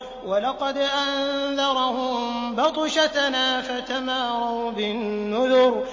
وَلَقَدْ أَنذَرَهُم بَطْشَتَنَا فَتَمَارَوْا بِالنُّذُرِ